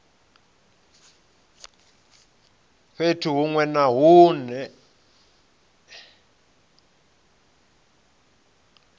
fhethu hunwe na hunwe hune